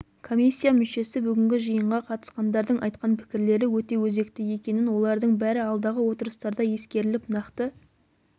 комиссия мүшесі бүгінгі жиынға қатысқандардың айтқан пікірлері өте өзекті екенін олардың бәрі алдағы отырыстарда ескеріліп нақты